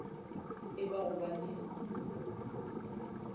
e ba go ba le